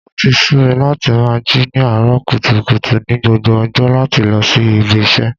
O ti sú mi láti máa jí ní àárọ̀ kùtùkùtù ni gbogbo ọjọ́ láti lọ sí ibi iṣẹ́.